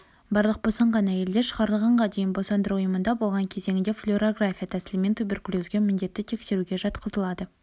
барлық босанған әйелдер шығарылғанға дейін босандыру ұйымында болған кезеңінде флюорография тәсілімен туберкулезге міндетті тексеруге жатқызылады